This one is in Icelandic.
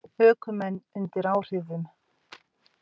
Ökumenn undir áhrifum